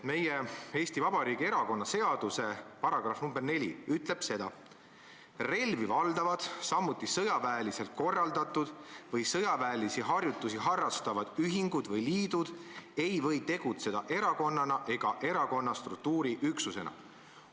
Meie, Eesti Vabariigi erakonnaseaduse § 4 ütleb seda: "Relvi valdavad, samuti sõjaväeliselt korraldatud või sõjaväelisi harjutusi harrastavad ühingud või liidud ei või tegutseda erakonnana ega erakonna struktuuriüksusena.